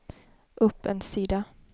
upp en sida